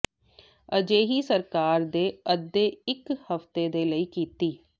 ਅਜਿਹੀ ਸਰਕਾਰ ਦੇ ਅੱਧੇ ਇੱਕ ਹਫ਼ਤੇ ਦੇ ਲਈ ਕੀਤੀ